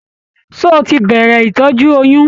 Ṣé o tí bẹrẹ ìtọjú oyún?